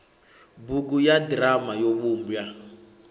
bugu ya ḓirama yo vhumbwa